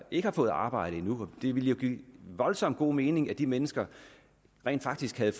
ikke har fået arbejde endnu ville det jo give voldsomt god mening at de mennesker rent faktisk fik